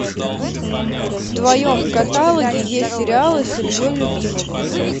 в твоем каталоге есть сериалы с ильей любимовым